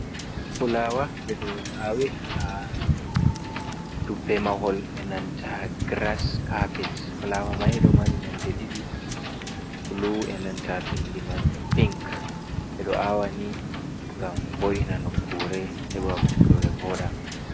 Fulawa ɓeɗo a'wi ha dubbe mahol enanta girass kapet, fulawa mai ɗo mari nonde ɗiɗi bulu e nanta bindi man pink, ɓeɗo a'wani gam vo’ina nokkure heɓa nokkure voɗa.